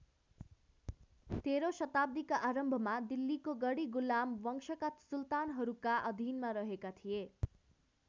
तेह्रौं शताब्दीका आरम्भमा दिल्लीको गडी गुलाम वंशका सुल्तानहरूका अधीनमा रहेका थिए।